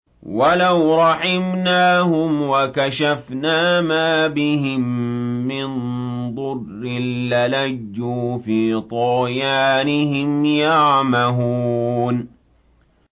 ۞ وَلَوْ رَحِمْنَاهُمْ وَكَشَفْنَا مَا بِهِم مِّن ضُرٍّ لَّلَجُّوا فِي طُغْيَانِهِمْ يَعْمَهُونَ